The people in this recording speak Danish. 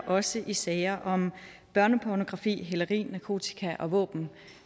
også i sager om børnepornografi hæleri narkotika og våben